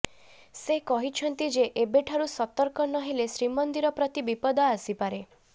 ସେ କହିଛନ୍ତି ଯେ ଏବେଠାରୁ ସତର୍କ ନହେଲେ ଶ୍ରୀମନ୍ଦିର ପ୍ରତି ବିପଦ ଆସିପାରେ